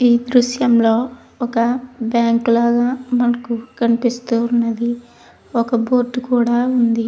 ఈ దృశ్యం లో ఒక బ్యాంకు లాగా మనకు కనిపిస్తూ ఉన్నది. ఒక బోర్డు కూడా ఉంది.